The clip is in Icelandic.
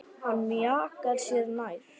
Hann mjakar sér nær.